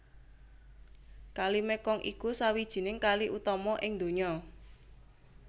Kali Mekong iku sawijining kali utama ing donya